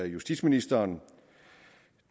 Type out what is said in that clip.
justitsministeren